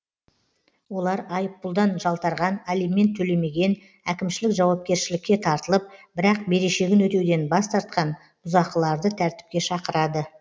олар айыппұлдан жалтарған алимент төлемеген әкімшілік жауапкершілікке тартылып бірақ берешегін өтеуден бас тартқан бұзақыларды тәртіпке шақырады